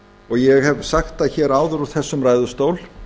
og ég hef sagt það hér áður úr þessum ræðustól